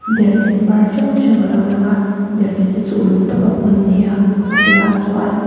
derhken par hrang hrang alo lang a derhken te chu uluk tak a phun an ni a a bulah chuan --